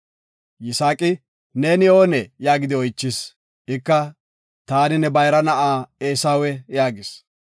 Yisaaqi, “Ne oonee?” yaagidi oychis. Ika, “Taani ne bayra na7a Eesawe” yaagis.